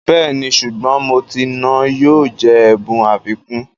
Bẹ́ẹ̀ni, sùgbọ́n mọ́tìì náà yóò jẹ́ ẹ̀bùn àfikún